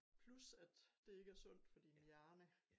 Plus at det ikke er sundt for din hjerne